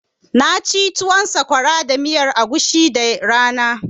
Na ci tuwon sakwara da miyan agushi da rana